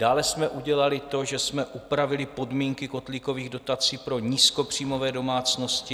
Dále jsme udělali to, že jsme upravili podmínky kotlíkových dotací pro nízkopříjmové domácnosti.